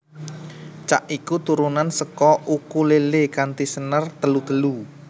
Cak iku turunan seka ukulélé kanthi senar telu telu